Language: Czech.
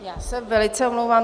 Já se velice omlouvám.